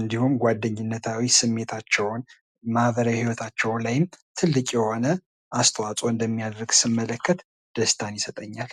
እንዲሁም ጓደኝነታቸውን እና ማህበራዊ ግንኙነታቸው ላይ ትልቅ የሆነ ሚና ሲጫወት ደስ ይለኛል።